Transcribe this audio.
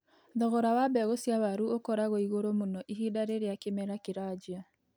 Thogora wa mbegu cia waru ũkoragwo igũrũ mũno ihinda rĩrĩa kĩmera kĩranjia.